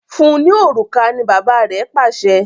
Fún ní òrùka! ní bàbá rẹ Pàṣẹ.